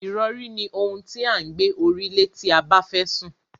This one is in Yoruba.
Ìrọ̀rí ni ohun tí à ń gbé orí lé tí a bẹ́fẹ́ sùn.